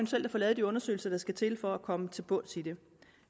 til at få lavet de undersøgelser der skal til for at komme til bunds i det